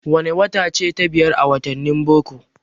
Wane wata ce ta biyar a wattanin boko?